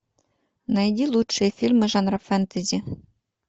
найди лучшие фильмы жанра фэнтези